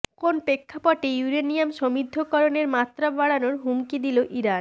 কোন প্রেক্ষাপটে ইউরেনিয়াম সমৃদ্ধকরণের মাত্রা বাড়ানোর হুমকি দিল ইরান